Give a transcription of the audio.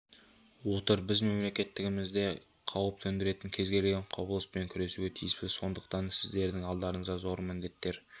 отыр біз мемлекеттігімізге қауіп төндіретін кез келген құбылыспен күресуге тиіспіз сондықтан сіздердің алдарыңызда зор міндеттер